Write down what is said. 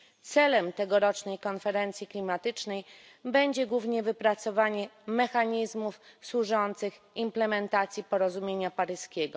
Celem tegorocznej konferencji klimatycznej będzie głównie wypracowanie mechanizmów służących implementacji porozumienia paryskiego.